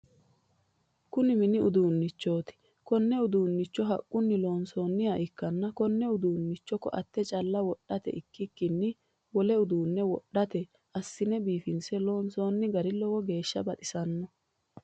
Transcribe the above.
Kunni minni uduunnichooti konne uduunicho haqunni loonsanniha ikanna konne uduunicho koate calla wodhate ikikinni wole uduune wodhate asine biifinse loonsoonni gari lowo geesha baxisanoho.